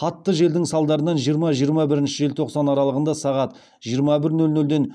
қатты желдің салдарынан жиырма жиырма бірінші желтоқсан аралығында сағат жиырма бір нөл нөлден